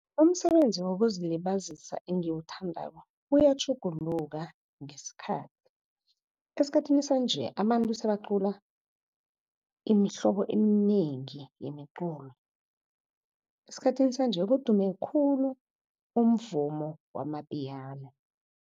Umsebenzi wokuzilibazisa engiwuthandako uyatjhuguluka ngesikhathi. Esikhathini sanje abantu sebacula imihlobo eminengi yemiculo. Esikhathini sanje kudume khulu umvumo wama-Piano.